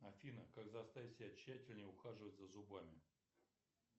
афина как заставить себя тщательнее ухаживать за зубами